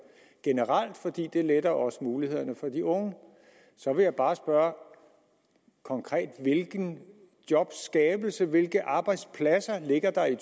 generelt fordi det letter også mulighederne for de unge så vil jeg bare spørge konkret hvilken jobskabelse hvilke arbejdspladser der ligger i